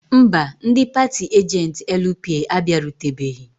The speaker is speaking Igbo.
Mba, ndị paatị ajentị LP abịarutebeghị.